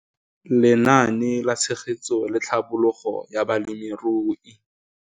Lenaane la Tshegetso le Tlhabololo ya Balemirui.